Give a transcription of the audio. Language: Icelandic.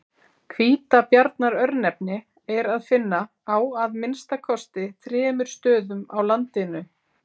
Hvítabjarnar-örnefni er að finna á að minnsta kosti þremur stöðum á landinu.